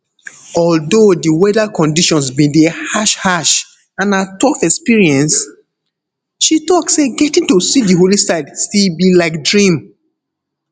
although di weather conditions bin dey harsh harsh and na tough experience she tok say getting to see di holy site still be like dream